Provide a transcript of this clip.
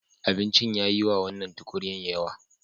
Abincin ya yi wa wannan tukunyar yawa.